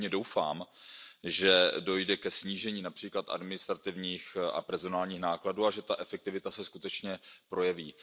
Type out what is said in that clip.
Já pevně doufám, že dojde ke snížení například administrativních a personálních nákladů a že ta efektivita se skutečně projeví.